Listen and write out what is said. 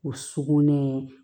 O sugunɛ